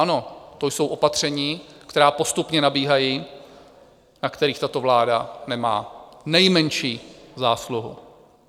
Ano, to jsou opatření, která postupně nabíhají, na kterých tato vláda nemá nejmenší zásluhu.